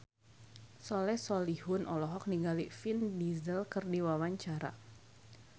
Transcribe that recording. Soleh Solihun olohok ningali Vin Diesel keur diwawancara